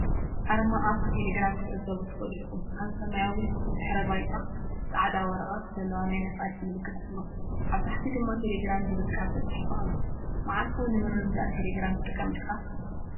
ኣርማ ኣፕ ቴሌግራም ክትዕዘቡ ትኽእሉ ኢኹም። ኣብ ሰማያዊ ድሕረ ባይታ፡ ጻዕዳ ወረቐት ዘለዎ ናይ ነፋሪት ምልክት ኣሎ፡ ኣብ ታሕቲ ድማ “ቴሌግራም” ዝብል ቃል ተጻሒፉ ኣሎ። መዓልታዊ ንምርድዳእ ቴሌግራም ትጥቀም ዲኻ?